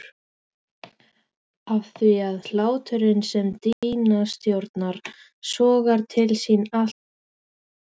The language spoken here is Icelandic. Afþvíað hláturinn sem Díana stjórnar sogar til sín allt kvikt.